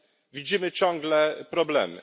widzimy ciągle problemy.